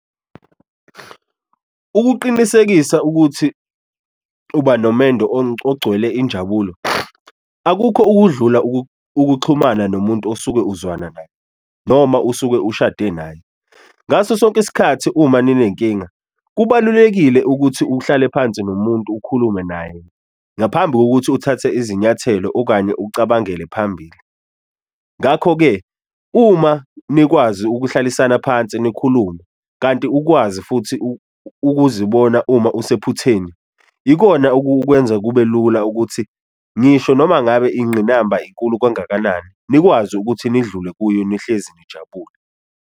Ukuqinisekisa ukuthi uba nomendo ogcwele injabulo, akukho ukudlula ukuxhumana nomuntu osuke uzwana naye noma usuke ushade naye, ngaso sonke isikhathi uma ninenkinga kubalulekile ukuthi uhlale phansi nomuntu ukhulume naye ngaphambi kokuthi uthathe izinyathelo okanye ucabangele phambili. Ngakho-ke uma nikwazi ukuhlalisana phansi nikhulume kanti ukwazi futhi ukuzibona uma usephutheni ikona okukwenza kube lula ukuthi ngisho noma ngabe inqinamba inkulu kangakanani nikwazi ukuthi nidlule kuyo nihlezi nijabule.